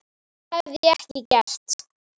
Það hefði ég ekki gert.